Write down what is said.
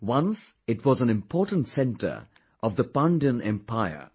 Once it was an important centre of the Pandyan Empire